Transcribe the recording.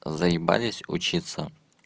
заебались учиться